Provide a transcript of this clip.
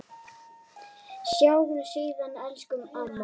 Sjáumst síðar, elsku amma.